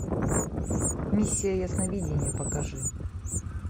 миссия ясновидения покажи